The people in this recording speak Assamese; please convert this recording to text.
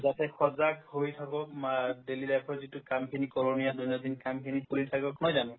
ইয়াতে সজাক হৈ থাকক বা daily life ৰ যিটো কামখিনি কৰণীয় দৈনন্দিন কামখিনি কৰি থাকক নহয় জানো